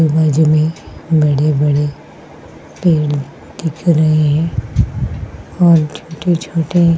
ये जमीन बड़े-बड़े दिख रही है। और छोटे छोटे --